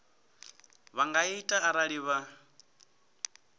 vha nga ita arali vha